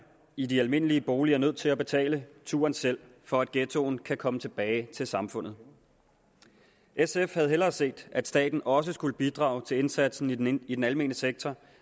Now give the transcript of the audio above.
i de almindelige boliger nødt til at betale turen selv for at ghettoen kan komme tilbage til samfundet sf havde hellere set at staten også skulle bidrage til indsatsen i den i den almene sektor